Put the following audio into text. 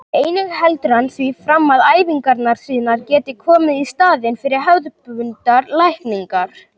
Einnig heldur hann því fram að æfingarnar sínar geti komið í staðinn fyrir hefðbundnar lækningar.